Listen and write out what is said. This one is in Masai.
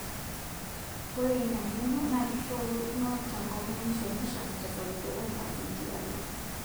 Ore Ina ngeno NAA kishoruno tenkop naaishongishong tesapuko oo mpasenti are